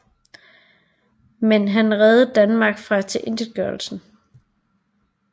Men han reddede Danmark fra tilintetgørelse